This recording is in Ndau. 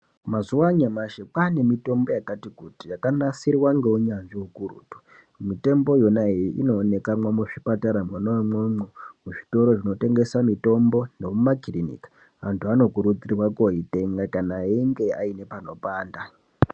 Mazuwa anyamashi kwaane mitombo yakati kuti, yakanasirwa ngeunyanzvi ukurutu, mitombo yonayo, inooneka muzvipatara mwona imwomwo, muzvitoro zvinotengesa mitombo nemumakiriniki, antu anokurudzirwa koitenga kana ainge aine panopanda.